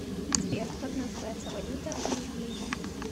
сбер как называется валюта в ливии